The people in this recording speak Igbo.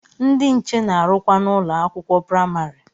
Ndị nche na-arụkwa n'ụlọ akwụkwọ praimari.